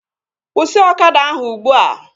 Kwụsị ọkada ahụ ugbua!